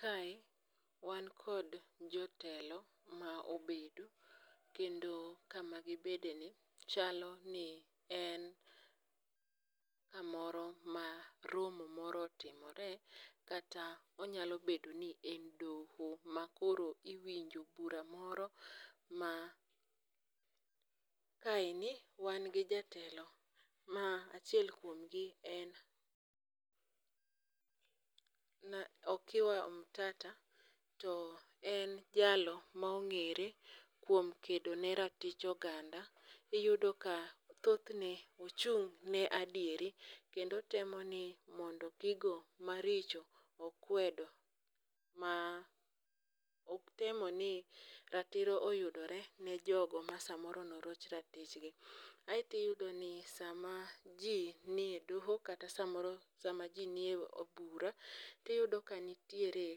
Kae wan kod jotelo ma obedo. Kendo kama gibede ni chalo ni en kamoro ma romo moro otimore, kata onyalo bedo ni en doho ma koro iwinjo bura moro ma. Kaendi wan gi jatelo ma achiel kuomgi en Okia Omtata. To en jalo ma ong'ere kuom kedo ne ratich oganda. Iyudo ka thothne ochung' ne adieri, kendo otemo ni mondo gigo maricho okwedo, ma otemo ni ratiro oyudore ne jogo ma samoro ne oroch ratichgi. Aeto iyudo ni sama ji nie doho, kata samoro sama ji nie od bura to iyudo ka samoro nitiere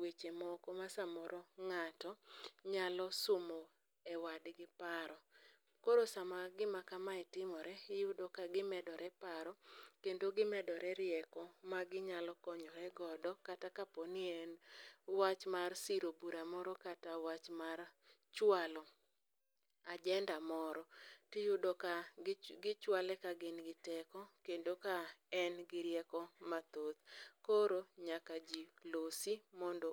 weche moko ma samoro ng'ato nyalo somo e wadgi paro. Koro sama gima kamae timore iyudo ka gimedore paro kendo gimedore rieko ma ginyalo konyore godo, kata ka po ni en wach mar siro bura moro kata wach mar chwalo agenda moro, tiyudo ka gichwale, kagin gi teko kendo ka en gi rieko mathoth. Koro nyaka ji losi mondo